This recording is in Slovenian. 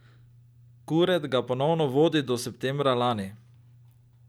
Kuret ga ponovno vodi od septembra lani.